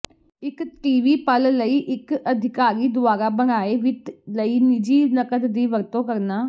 ਇੱਕ ਟੀਵੀ ਪਲ ਲਈ ਇੱਕ ਅਧਿਕਾਰੀ ਦੁਆਰਾ ਬਣਾਏ ਵਿੱਤ ਲਈ ਨਿੱਜੀ ਨਕਦ ਦੀ ਵਰਤੋਂ ਕਰਨਾ